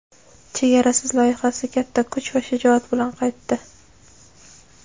"Chegarasiz" loyihasi katta kuch va shijoat bilan qaytdi!.